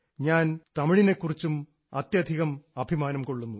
ഞാൻ തമിഴിനെ കുറിച്ച് അത്യധികം അഭിമാനം കൊള്ളുന്നു